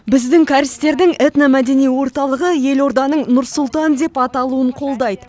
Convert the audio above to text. біздің кәрістердің этно мәдени орталығы елорданың нұр сұлтан деп аталуын қолдайды